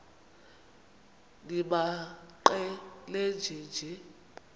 nimaqe nenje nje